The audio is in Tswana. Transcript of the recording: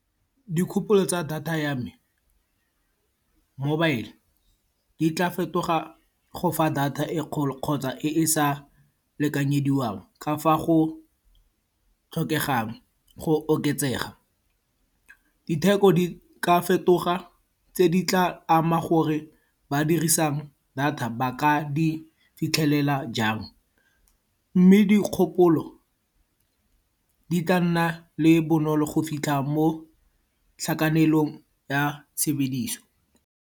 Dikgopolo tsa data ya me, mobile, di tla fetoga go fa data e e kgolo kgotsa e e sa lekanyediwang. Ka fa go tlhokegang go oketsega. Ditheko di ka fetoga tse di tla ama gore ba dirisang data ba ka di fitlhelela jang. Mme dikgopolo di ka nna le bonolo go fitlha mo tlhakanelong ya tshebediso.